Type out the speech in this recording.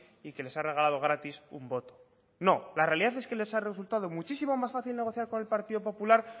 y que les ha regalado gratis un voto no la realidad es que les ha resultado muchísimo más fácil negociar con el partido popular